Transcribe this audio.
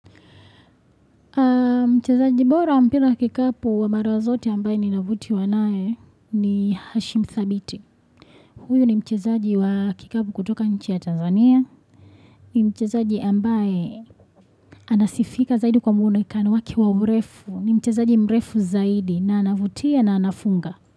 Mchezaji bora wa mpira wa kikapu wa marazote ambaye ninavutiwa naye ni Hashim thabiti. Huyo ni mchezaji wa kikapu kutoka nchi ya Tanzania. Ni mchezaji ambaye anasifika zaidi kwa muonekano wake wa urefu. Ni mchezaji mrefu zaidi na anavutia na anafunga.